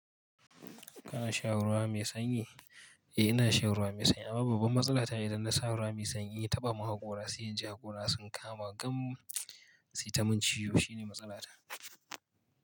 Kana shan ruwa mai sanyi? Eh ina sha ruwa mai sanyi amma babban matsala ta idan na sha ruwa mai sanyi taɓa mun hakora, sai in ji hakora sun kama gam sitamin ciwo shine matsala ta.